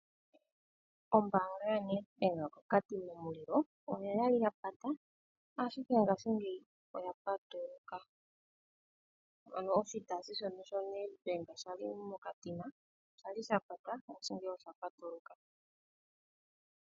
Ombaanga yoNedbank koKatima Mulilo, oyali yata, ashike ngashingeyi oyapatuluka. Ano oshitayi shono shoNedbank shili moKatima, shali sha pata, oshili sha patuluka.